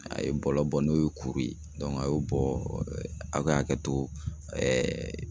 A ye bɔlɔ bɔ n'o ye kuru ye a y'o bɔɔ a ka hakɛ to